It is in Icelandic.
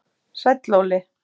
Sæll Óli